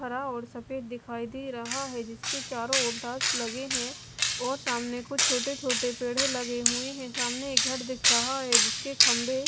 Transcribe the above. हरा और सफेद दिखाई दे रहा हैजिसके चारों ओर ठास लगे हैं और सामने कुछ छोटे-छोटे पेड़े लगे हुए हैंसामने एक घर दिख रहा है जिसके खंबे---